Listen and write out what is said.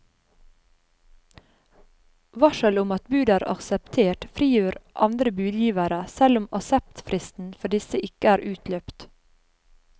Varsel om at bud er akseptert, frigjør andre budgivere, selv om akseptfristen for disse ikke er utløpt.